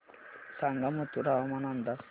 सांगा मथुरा हवामान अंदाज